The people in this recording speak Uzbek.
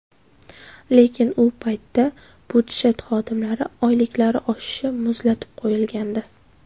Lekin u paytda budjet xodimlari oyliklari oshishi muzlatib qo‘yilgandi.